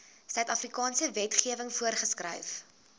suidafrikaanse wetgewing voorgeskryf